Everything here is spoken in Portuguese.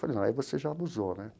Falei, não, aí você já abusou, né?